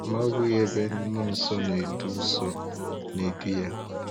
Ma ọ bụghị ebe Mmụọ Nsọ na-edu Nsọ na-edu Ya.